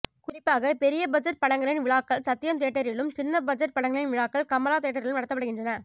குறிப்பாக பெரியபட்ஜெட் படங்களின் விழாக்கள் சத்யம் தியேட்டரிலும் சின்ன பட்ஜெட் படங்களின் விழாக்கள் கமலா தியேட்டரிலும் நடத்தப்படுகின்றன